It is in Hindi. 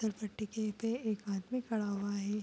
फिसल पट्टी पर एक आदमी खड़ा हुआ है।